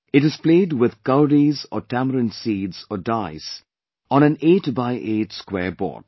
It is played with cowries or tamarind seeds or dice on an eight by eight square board